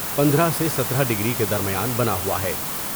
پندرہ سے سترہ ڈگری کے درمیان بنا ہوا ہے ۔